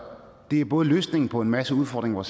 det er både løsningen på en masse udfordringer